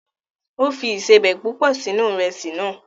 O fi ìsebẹ̀ púpọ̀ sínú Ìrẹ́sì náà